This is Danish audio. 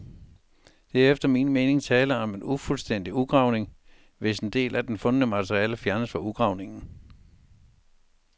Der er efter min mening tale om en ufuldstændig udgravning, hvis en del af den fundne materialer fjernes fra udgravningen.